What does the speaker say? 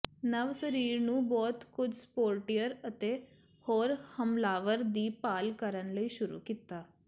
ਨਵ ਸਰੀਰ ਨੂੰ ਬਹੁਤ ਕੁਝ ਸਪੋਰਟੀਅਰ ਅਤੇ ਹੋਰ ਹਮਲਾਵਰ ਦੀ ਭਾਲ ਕਰਨ ਲਈ ਸ਼ੁਰੂ ਕੀਤਾ